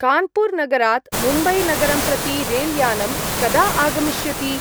कान्पूर्-नगरात् मुम्बै-नगरं प्रति रेल्यानं कदा आगमिष्यति?